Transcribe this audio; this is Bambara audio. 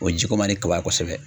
O ji ko man di kaba kosɛbɛ